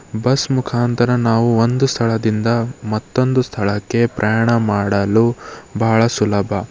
Bus ಮುಖಾಂತರ ನಾವು ಒಂದು ಸ್ಥಳದಿಂದ ಮತ್ತೊಂದು ಸ್ಥಳಕ್ಕೆ ಪ್ರಯಾಣ ಮಾಡಲು ಬಹಳ ಸುಲಭ.